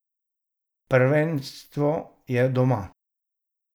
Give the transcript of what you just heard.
Prvenstvo je doma!